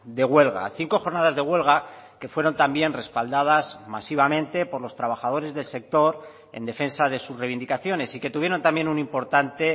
de huelga cinco jornadas de huelga que fueron también respaldadas masivamente por los trabajadores del sector en defensa de sus reivindicaciones y que tuvieron también un importante